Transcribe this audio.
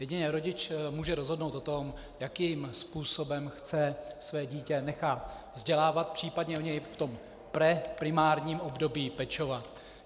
Jedině rodič může rozhodnout o tom, jakým způsobem chce své dítě nechat vzdělávat, případně o něj v tom preprimárním období pečovat.